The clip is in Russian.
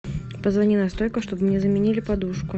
позвони на стойку чтобы мне заменили подушку